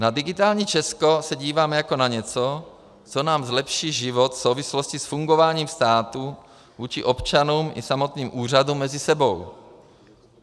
Na digitální Česko se dívám jako na něco, co nám zlepší život v souvislosti s fungováním státu vůči občanům i samotným úřadům mezi sebou.